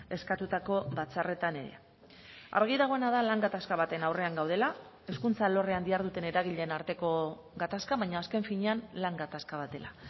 eskatutako batzarretan ere argi dagoena da lan gatazka baten aurrean gaudela hezkuntza alorrean diharduten eragileen arteko gatazka baina azken finean lan gatazka bat dela